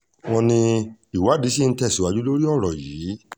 wọ́n ní ìwádìí ṣì ń tẹ̀síwájú lórí ọ̀rọ̀ yìí